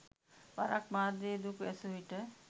වරක් මාධ්‍යවේදියෙකු ඇසූ විට